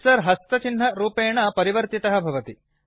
cursor हस्तचिह्नरूपेण परिवर्तितः भवति